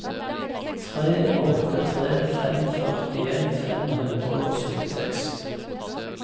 tre åtte tre fem førtien fem hundre og syttiseks